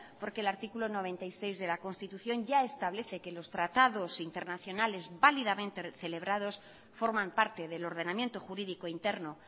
porque el artículo noventa y seis de la constitución ya establece que los tratados internacionales validamente celebrados forman parte del ordenamiento jurídico interno